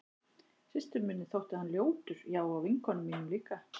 Systur minni þótti hann ljótur já og vinkonum mínum líka.